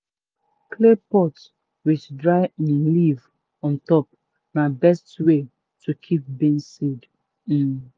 clay pot with dry um leaf on top na best way to keep beans seed. um